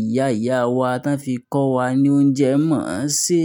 ìyá ìyá wa tán fi kọ́ wa ní oúnjẹ mọ̀ọ́ ṣè.